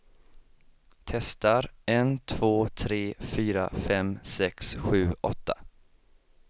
Testar en två tre fyra fem sex sju åtta.